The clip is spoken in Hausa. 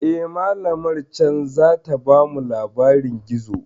Eh, malamar can zata bamu labarin gizo.